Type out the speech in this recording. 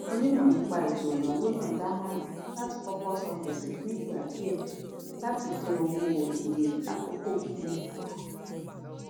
onímọ nípa ètò ìnáwó náà dámọràn láti kọkọ san gbèsè fún ìgbà díẹ láti dín owó èlé àkókò gígùn kù